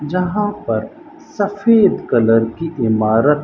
जहां पर सफेद कलर की इमारत--